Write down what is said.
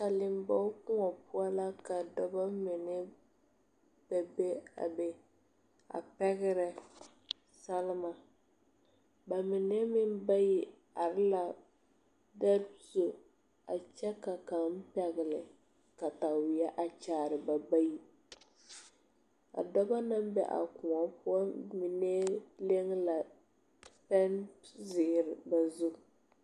Saliŋ bog koɔ poɔ la ka dɔba mine bebe a be a pɛgrɛ salma bamine meŋ bayi are la pɛŋ zu a kyɛ ka kaŋ pɛgle kataweɛ a kyaare ba bayi a dɔba naŋ ne a koɔ poɔ mine leŋ la pɛŋzeere ba zu.